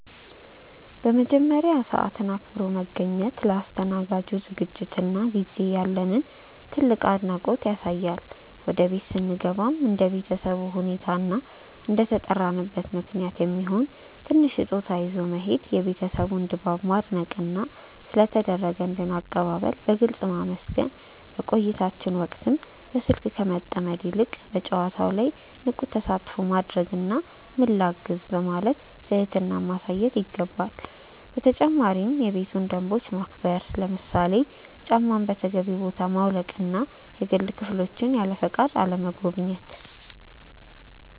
በመጀመሪያ፣ ሰዓትን አክብሮ መገኘት ለአስተናጋጁ ዝግጅትና ጊዜ ያለንን ትልቅ አድናቆት ያሳያል። ወደ ቤት ስንገባም እንደ ቤተሰቡ ሁኔታ እና እንደተጠራንበት ምክንያት የሚሆን ትንሽ ስጦታ ይዞ መሄድ፣ የቤቱን ድባብ ማድነቅና ስለ ተደረገልን አቀባበል በግልጽ ማመስገን። በቆይታችን ወቅትም በስልክ ከመጠመድ ይልቅ በጨዋታው ላይ ንቁ ተሳትፎ ማድረግና "ምን ላግዝ?" በማለት ትህትናን ማሳየት ይገባል። በተጨማሪም የቤቱን ደንቦች ማክበር፣ ለምሳሌ ጫማን በተገቢው ቦታ ማውለቅና የግል ክፍሎችን ያለፈቃድ አለመጎብኘት።